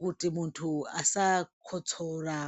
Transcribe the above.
kuti muntu asa kotsora.